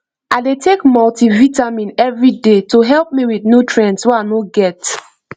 i dey take multivitamin every day to help me with nutrients wey i no get